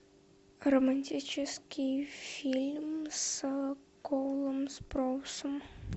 романтический фильм с коулом спроусом